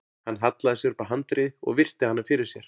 Hann hallaði sér upp að handriði og virti hana fyrir sér.